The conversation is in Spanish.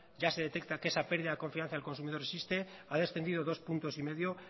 ya se detecta que esa pérdida de confianza del consumidor existe ha descendido dos coma cinco puntos